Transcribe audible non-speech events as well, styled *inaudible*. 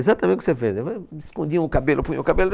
Exatamente o que você fez, *unintelligible* escondiam o cabelo, punham o cabelo.